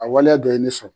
A waleya dɔ ye ne sɔrɔ